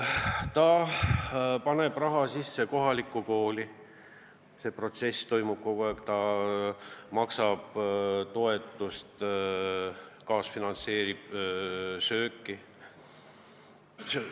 Ta paneb raha kohalikku kooli, see protsess toimub kogu aeg, ta maksab toetust, kaasfinantseerib toitlustamist.